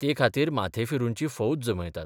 ते खातीर माथेफिरूंची फौज जमयतात.